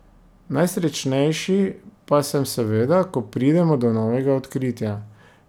Najsrečnejši pa sem seveda, ko pridemo do novega odkritja.